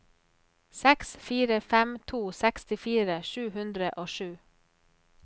seks fire fem to sekstifire sju hundre og sju